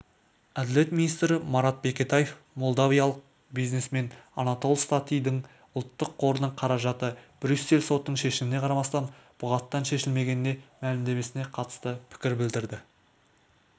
әділет министрі марат бекетаев молдавиялық бизнесмен анатол статидің ұлттық қорының қаражаты брюссель сотының шешіміне қарамастан бұғаттан шешілмегеніне мәлімдемесіне қатысты пікір білдірді деп